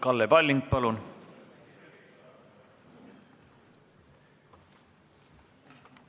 Kalle Palling, palun!